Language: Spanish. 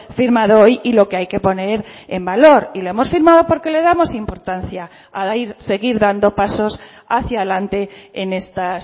firmado hoy y lo que hay que poner en valor y lo hemos firmado porque le damos importancia a seguir dando pasos hacia adelante en estas